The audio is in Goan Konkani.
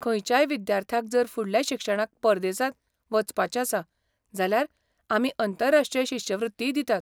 खंयच्याय विद्यार्थ्याक जर फुडल्या शिक्षणाक परदेसांत वचपाचें आसा जाल्यार आमी अंतरराष्ट्रीय शिश्यवृत्तीय दितात.